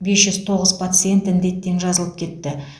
бес жүз тоғыз пациент індеттен жазылып кетті